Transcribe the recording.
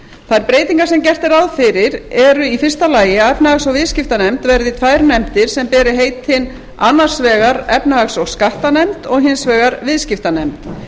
þær breytingar sem gert er ráð fyrir eru í fyrsta lagi að efnahags og viðskiptanefnd verði tvær nefndir sem beri heitin annars vegar efnahags og skattanefnd og hins vegar viðskiptanefnd